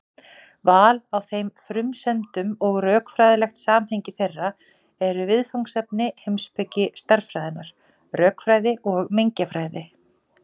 Val á þeim frumsendum og rökfræðilegt samhengi þeirra eru viðfangsefni heimspeki stærðfræðinnar, rökfræði og mengjafræði.